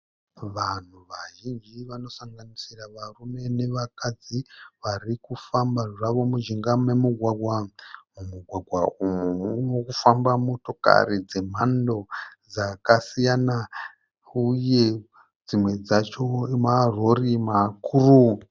Vanhu vazhinji vanosanganisira varume nevakadzi varikufamba zvavo mujinga memugwagwa. Mumugwagwa umu murikufamba motokari dzemhando dzakasiyana uye dzimwe dzacho marori makuru.